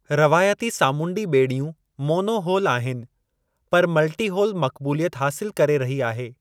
रवायती सामूंडी ॿेड़ियूं monohull आहिनि, पर मल्टी होल मक़बूलियत हासिलु करे रही आहे।